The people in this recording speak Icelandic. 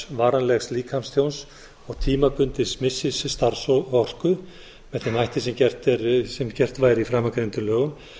varanlegs líkamstjóns og tímabundins missis starfsorku með þeim hætti sem gert væri í framangreindum lögum